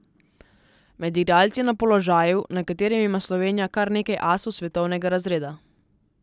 Med igralci na položaju, na katerem ima Slovenija kar nekaj asov svetovnega razreda.